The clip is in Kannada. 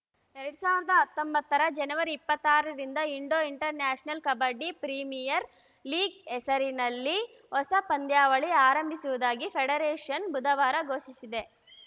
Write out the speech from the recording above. ಎರಡ್ ಸಾವಿರದ ಹತ್ತೊಂಬತ್ತರ ಜನವರಿ ಇಪ್ಪತ್ತಾರರಿಂದ ಇಂಡೋಇಂಟರ್‌ನ್ಯಾಷನಲ್‌ ಕಬಡ್ಡಿ ಪ್ರೀಮಿಯರ್‌ ಲೀಗ್‌ ಹೆಸರಿನ ಹೊಸ ಪಂದ್ಯಾವಳಿ ಆರಂಭಿಸುವುದಾಗಿ ಫೆಡರೇಷನ್‌ ಬುಧವಾರ ಘೋಷಿಸಿದೆ